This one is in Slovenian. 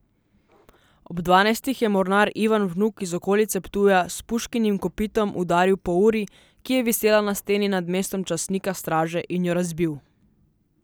Ob dvanajstih je mornar Ivan Vnuk iz okolice Ptuja s puškinim kopitom udaril po uri, ki je visela na steni nad mestom častnika straže in jo razbil.